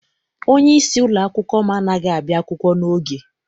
Onyeisi ụlọakwụkwọ m anaghị abịa akwụkwọ n'oge.